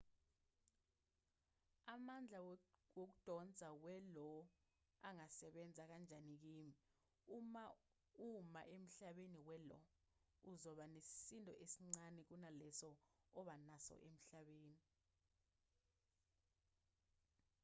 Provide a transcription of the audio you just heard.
amandla wokudonsa we-io angasebenza kanjani kimi uma uma emhlabeni we-lo uzoba nesisindo esincane kunaleso oba naso emhlabeni